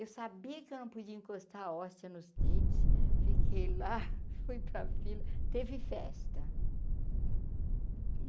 Eu sabia que eu não podia encostar a hóstia nos dentes, fiquei lá, fui para a fila, teve festa.